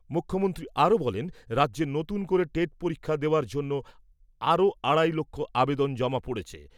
মুখ্যমন্ত্রী আরও বলেন, রাজ্যে নতুন করে টেট পরীক্ষা দেওয়ার জন্য আরও আড়াই লক্ষ আবেদন জমা পড়েছে।